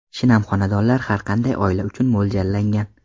Shinam xonadonlar har qanday oila uchun mo‘ljallangan.